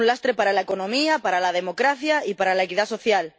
Es un lastre para la economía, para la democracia y para la equidad social.